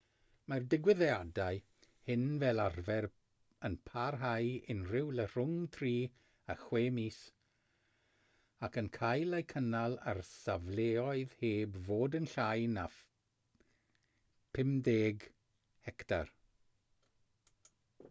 mae'r digwyddiadau hyn fel arfer yn parhau unrhyw le rhwng tri a chwe mis ac yn cael eu cynnal ar safleoedd heb fod yn llai na 50 hectar